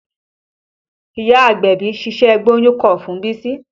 Ìyá agbẹ̀bí ṣiṣẹ́ gbóyún kọ́ fún Bísí